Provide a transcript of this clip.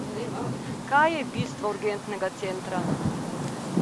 Kaj je bistvo urgentnega centra?